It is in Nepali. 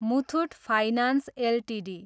Muthoot finance Ltd